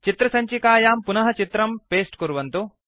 चित्रसञ्चिकायाम् पुनः चित्रं पेस्ट् कुर्वन्तु